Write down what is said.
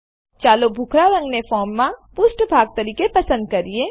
ચાલો ભૂખરા રંગને ફોર્મનાં પુષ્ઠભાગ તરીકે પસંદ કરીએ